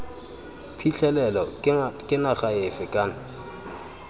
phitlhelelo ke naga efe kana